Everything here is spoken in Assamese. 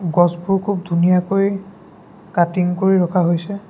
গছবোৰ খুব ধুনীয়াকৈ কাটিং কৰি ৰখা হৈছে।